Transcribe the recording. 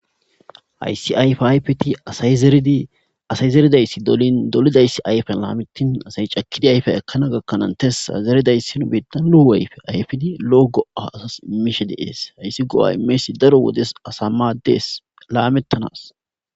Hayssi ayfaa ayfethi asay zeridi asay zeridayssi dolin dolidayssi ayfana miththin asay cakkidi ayfiya ekkana gakkana hananththes;zerida issino nu biiththan ayfiya ayfidi lo7o go7aa asassi immishee de7ees; hayssi go7aa immiyayssi daro wodiyas asaa maaddees; laameththanaas.